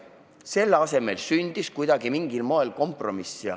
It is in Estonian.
Selle asemel sündis mingil moel kompromiss.